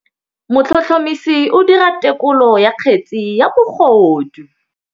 Motlhotlhomisi o dira têkolô ya kgetse ya bogodu.